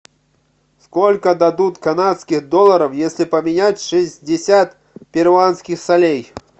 сколько дадут канадских долларов если поменять шестьдесят перуанских солей